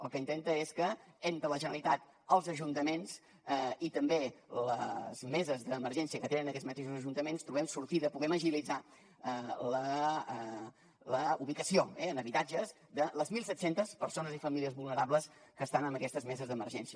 el que intenta és que entre la generalitat els ajuntaments i també les meses d’emergència que tenen aquests mateixos ajuntaments trobem sortida i puguem agilitzar la ubicació en habitatges de les mil set centes persones i famílies vulnerables que estan en aquestes meses d’emergència